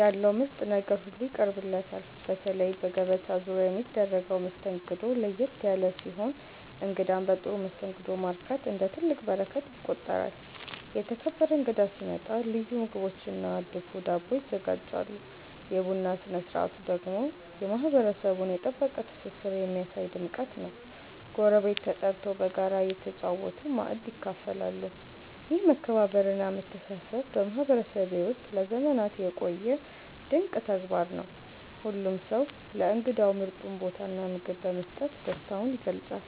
ያለው ምርጥ ነገር ሁሉ ይቀርብለታል። በተለይ በገበታ ዙሪያ የሚደረገው መስተንግዶ ለየት ያለ ሲሆን እንግዳን በጥሩ መስተንግዶ ማርካት እንደ ትልቅ በረከት ይቆጠራል። የተከበረ እንግዳ ሲመጣ ልዩ ምግቦችና ድፎ ዳቦ ይዘጋጃሉ። የቡና ስነ ስርዓቱ ደግሞ የማህበረሰቡን የጠበቀ ትስስር የሚያሳይ ድምቀት ነው፤ ጎረቤት ተጠርቶ በጋራ እየተጨዋወቱ ማእድ ይካፈላሉ። ይህ መከባበርና መተሳሰብ በማህበረሰቤ ውስጥ ለዘመናት የቆየ ድንቅ ተግባር ነው። ሁሉም ሰው ለእንግዳው ምርጡን ቦታና ምግብ በመስጠት ደስታውን ይገልጻል።